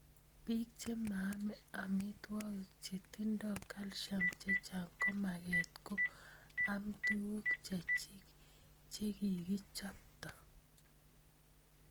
Pik che maame amitwogik che tindoi calcium chechang komagat ko am tuguk chechik, chekikichopto.